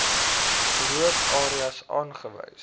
rook areas aangewys